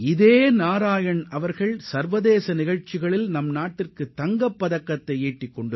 அதே நாராயண்தான் சர்வதேச போட்டிகளில் இந்தியாவின் சார்பில் பதக்கம் வென்றுள்ளார்